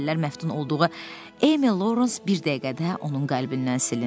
Əvvəllər məftun olduğu Emil Laurens bir dəqiqədə onun qəlbindən silindi.